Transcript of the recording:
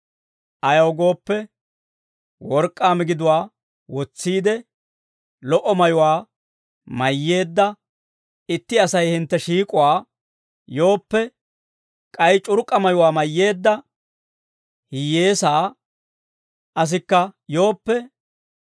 Ayaw gooppe, work'k'aa migiduwaa wotsiide, lo"o mayuwaa mayyeedda itti Asay hintte shiik'uwaa yooppe, k'ay c'urk'k'a mayuwaa mayyeedda hiyyeesaa asikka yooppe,